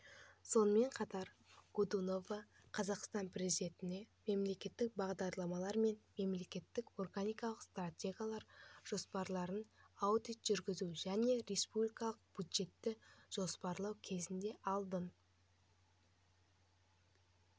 сонымен қатар годунова қазақстан президентіне мемлекеттік бағдарламалар мен мемлекеттік органдардың стратегиялық жоспарларына аудит жүргізу және республикалық бюджетті жоспарлау кезінде алдын